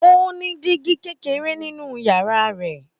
Ó ní dígí kékeré nínú yàrá rẹ̀.